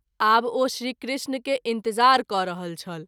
आब ओ श्री कृष्ण के इंतज़ार क’ रहल छल।